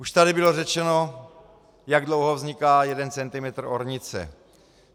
Už tady bylo řečeno, jak dlouho vzniká jeden centimetr ornice.